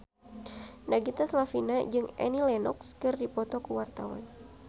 Nagita Slavina jeung Annie Lenox keur dipoto ku wartawan